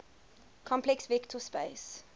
complex vector space